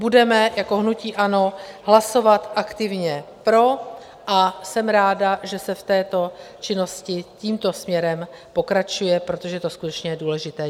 Budeme jako hnutí ANO hlasovat aktivně pro a jsem ráda, že se v této činnosti tímto směrem pokračuje, protože je to skutečně důležité.